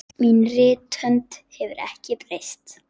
Mín rithönd hefur ekki breyst.